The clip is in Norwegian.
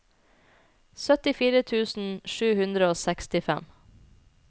syttifire tusen sju hundre og sekstifem